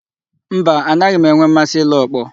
Mba, anaghị m enwe mmasị ile ọkpọ.